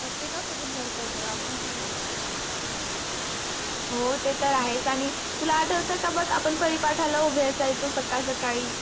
प्रतेक सोबत भरत ग आपणच कुठ हो ते तर आहेच तुला आठवत का बघ आपण परी पाठाला उभे असायचो साकड साकडी